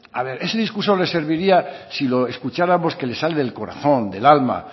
a ver ese un discurso les serviría si lo escucháramos que les sale del corazón del alma